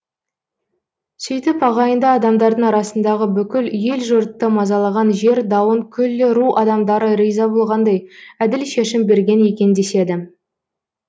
сөйтіп ағайынды адамдардың арасындагы бүкіл ел жұртты мазалаған жер дауын күллі ру адамдары риза болғандай әділ шешім берген екен деседі